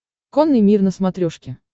конный мир на смотрешке